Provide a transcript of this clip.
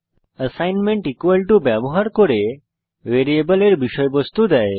assignment equal to ব্যবহার করে variable এর বিষয়বস্তু দেয়